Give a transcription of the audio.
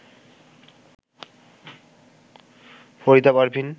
Farida Parvin